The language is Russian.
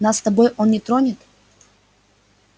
нас с тобой он не тронет